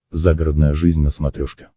загородная жизнь на смотрешке